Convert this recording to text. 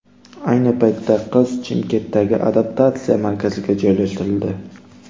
Ayni paytda qiz Chimkentdagi adaptatsiya markaziga joylashtirildi.